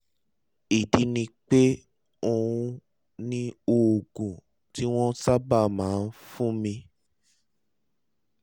ìdí ni pé òun ni oògùn tí wọ́n sábà máa ń fúnni